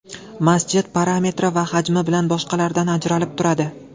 Masjid parametri va hajmi bilan boshqalardan ajralib turadi.